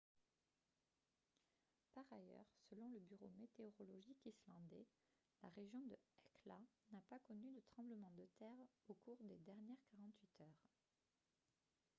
par ailleurs selon le bureau météorologique islandais la région de hekla n'a pas connu de tremblement de terre au cours des dernières 48 heures